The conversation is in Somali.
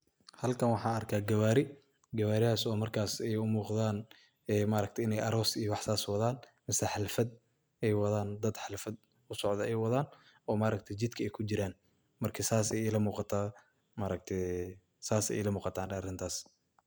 Halkan waxan arka gawari, gawaridhaso markas ey umuqdan maaragti inaay aroos iyo wax sas ay wadan masna xalfaad ey wadan dad halfad usocda ay wadan oo maragti jidka ay kujuran marka saas ay ila muquta.